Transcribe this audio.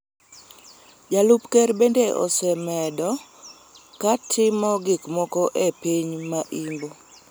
Jalup ker bende osebedo ka timo gik moko e piny ma Imbo